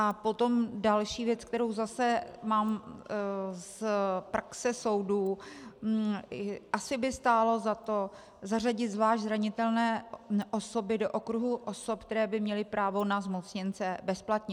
A potom další věc, kterou zase mám z praxe soudu, asi by stálo za to zařadit zvlášť zranitelné osoby do okruhu osob, které by měly právo na zmocněnce bezplatně.